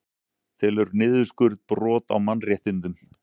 Telur niðurskurð brot á mannréttindum